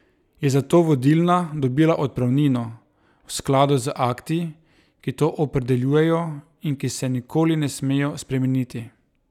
Je zato vodilna dobila odpravnino, v skladu z akti, ki to opredeljujejo in ki se nikoli ne smejo spremeniti?